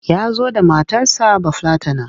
Ya zo da matarsa Bafillatana.